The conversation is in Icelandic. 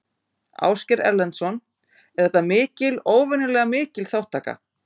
Ásgeir Erlendsson: Er þetta mikil, óvenjulega mikil þátttaka?